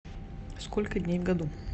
сколько дней в году